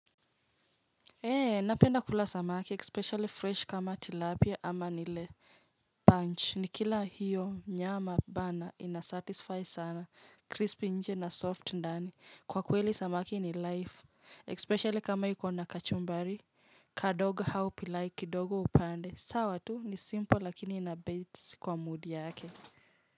Eee, napenda kula samaki, especially fresh kama tilapia ama nile perch, nikila hiyo nyama bana inasatisfy sana, crispy nje na soft ndani, kwa kweli samaki ni life, especially kama iko na kachumbari, kadogo au pilau kidogo upande, sawa tu ni simple lakini inabait kwa mood yake.